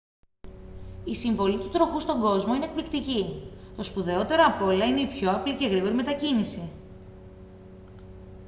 η συμβολή του τροχού στον κόσμο είναι εκπληκτική το σπουδαιότερο απ' όλα είναι η πιο απλή και γρήγορη μετακίνηση